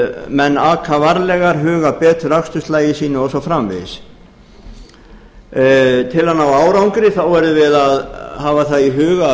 menn aka varlegar huga betur að aksturslagi sínu og svo framvegis til að ná árangri verðum við að hafa það í huga að